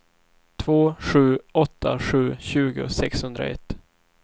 två sju åtta sju tjugo sexhundraett